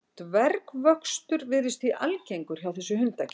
Dvergvöxtur virðist því algengur hjá þessu hundakyni.